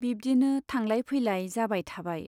बिब्दिनो थांलाय फैलाय जाबाय थाबाय।